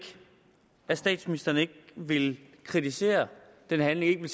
at statsministeren ikke vil kritisere den handling